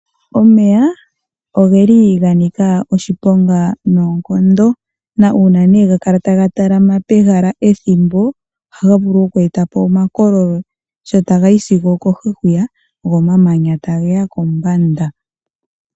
Omeya ogeli ga nika oshiponga noonkondo, na uuna nee ga kala taga talama pehala ethimbo , ohaga vulu oku eta po omakololo sho taga yi sigo okohi hwiya, go omamanya ta geya kombanda.